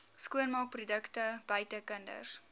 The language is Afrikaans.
skoonmaakprodukte buite kinders